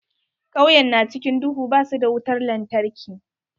Kauyen na cikin duhu, ba su da wutar lantarki.